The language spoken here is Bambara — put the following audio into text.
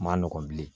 Ma nɔgɔ bilen